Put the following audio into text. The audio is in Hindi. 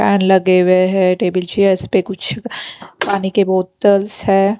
पैन लगे हुए है टेबल चेयर्स पे कुछ पानी के बोतल्स है।